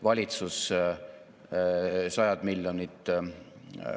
Oleme ministeeriumis selle väljakutse lahendamisega seotud tegevused raaminud kolme strateegilise suuna vahel.